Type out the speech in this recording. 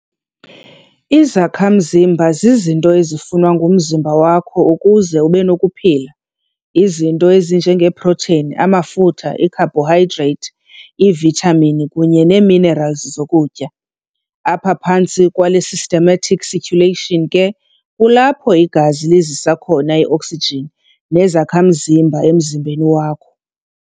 Izakha-mzimba zizinto ezifunwa ngumzimba wakho ukuze ube nokuphila, izinto ezinje ngee-proteni, amafutha, iikhabhorhidrate, ivithamini, kunye nee-minerali zokutya. Apha phantsi kwale systematic circulation ke kulapho igazi lizisa khona i-oksijin nezakha-mzimba emzimbeni wakho.